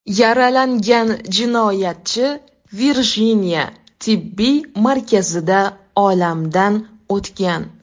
Yaralangan jinoyatchi Virjiniya tibbiy markazida olamdan o‘tgan.